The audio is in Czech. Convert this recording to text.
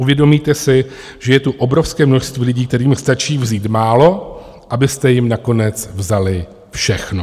Uvědomíte si, že je tu obrovské množství lidí, kterým stačí vzít málo, abyste jim nakonec vzali všechno.